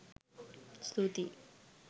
ස්තුතියි.